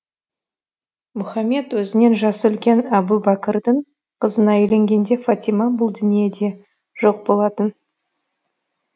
мұхаммед өзінен жасы үлкен әбу бәкірдің қызына үйленгенде фатима бұл дүниеде жоқ болатын